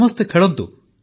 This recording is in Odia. ସମସ୍ତେ ଖେଳନ୍ତୁ